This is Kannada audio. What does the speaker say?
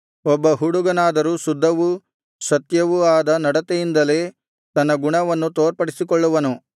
ಒಬ್ಬ ಹುಡುಗನಾದರೂ ಶುದ್ಧವೂ ಸತ್ಯವೂ ಆದ ನಡತೆಯಿಂದಲೇ ತನ್ನ ಗುಣವನ್ನು ತೋರ್ಪಡಿಸಿಕೊಳ್ಳುವನು